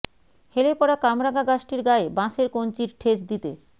হেলে পড়া কামরাঙা গাছটির গায়ে বাঁশের কঞ্চির ঠেস দিতে